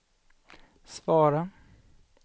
svara